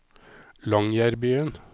Longyearbyen